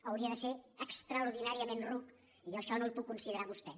hauria de ser extraordinàriament ruc i jo això no el puc considerar a vostè